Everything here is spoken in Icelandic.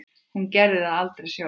Hún gerði það aldrei sjálf.